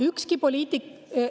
Ükski poliitik …